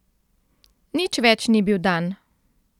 Nič več ni bil dan.